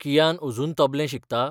कियान अजून तबलें शिकता?